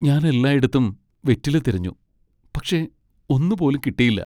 ഞാൻ എല്ലായിടത്തും വെറ്റില തിരഞ്ഞു, പക്ഷേ ഒന്നു പോലും കിട്ടിയില്ല.